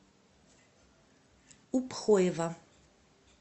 упхоева